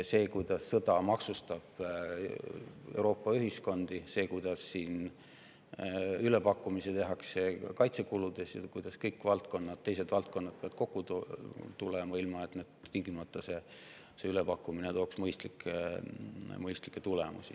See, kuidas sõda maksustab Euroopa ühiskondi, see, kuidas siin tehakse ülepakkumisi kaitsekuludes ja kuidas kõik muud valdkonnad peavad kokku, ilma et see ülepakkumine tingimata mõistlikke tulemusi tooks.